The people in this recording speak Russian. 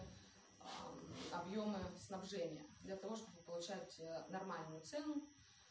объёмное снабжение для того чтобы получать нормальную цену